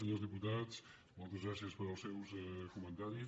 senyors diputats moltes gràcies pels seus comentaris